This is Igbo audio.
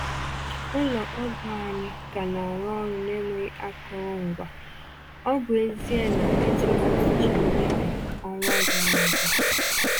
Ụlọ ọgwụ anyị ka na-arụ ọrụ n’enweghị akụrụngwa, ọ bụ ezie na e tụrụ ụbọchị nnyefe ọnwa gara aga.